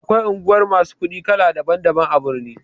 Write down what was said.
Da akwai unguwar masu kuɗi kala daban daban a birni